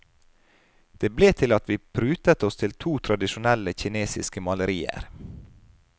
Det ble til at vi prutet oss til to tradisjonelle kinesiske malerier.